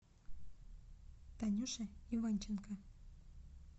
танюша иванченко